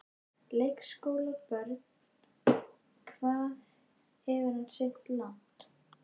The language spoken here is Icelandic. Leikskólabörn: Hvað hefur hann synt langt?